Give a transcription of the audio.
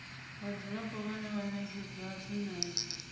vhadzulapo vhane vha ṅetshedzwa tshumelo